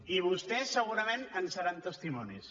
i vostès segurament en seran testimonis